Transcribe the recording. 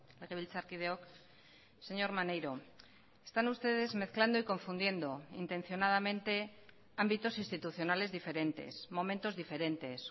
legebiltzarkideok señor maneiro están ustedes mezclando y confundiendo intencionadamente ámbitos institucionales diferentes momentos diferentes